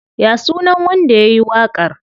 Ya sunan wanda yayi waƙar?